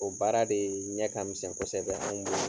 O baara de ɲɛ ka misɛn kosɛbɛ anw bolo.